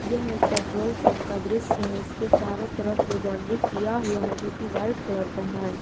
यह एक petrol pump का दृश्य है इसके चारों तरफ में बाउंड्री किया हुआ है जो की वाइट कलर का है।